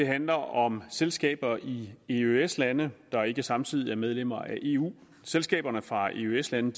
handler om selskaber i eøs lande der ikke samtidig er medlemmer af eu selskaberne fra eøs lande